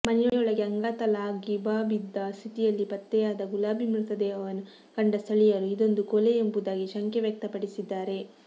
ಮನೆಯೊಳಗೆ ಅಂಗಾತಲಾಗಿಬಬಿದ್ದ ಸ್ಥಿತಿಯಲ್ಲಿ ಪತ್ತೆಯಾದ ಗುಲಾಬಿ ಮೃತದೇಹವನ್ನು ಕಂಡ ಸ್ಥಳೀಯರು ಇದೊಂದು ಕೊಲೆ ಎಂಬುದಾಗಿ ಶಂಕೆ ವ್ಯಕ್ತಪಡಿಸಿದ್ದಾರೆ